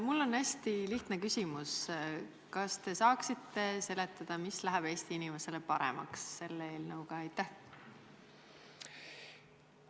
Mul on hästi lihtne küsimus: kas te saaksite seletada, mis läheb Eesti inimesel selle eelnõuga paremaks?